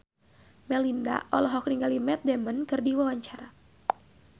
Melinda olohok ningali Matt Damon keur diwawancara